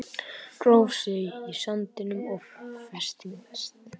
Gróf sig í sandinn og festist